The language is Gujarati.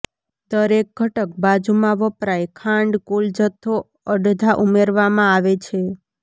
દરેક ઘટક બાજુમાં વપરાય ખાંડ કુલ જથ્થો અડધા ઉમેરવામાં આવે છે